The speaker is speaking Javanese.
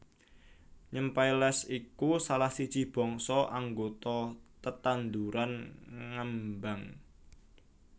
Nymphaeales iku salah siji bangsa anggota tetanduran ngembang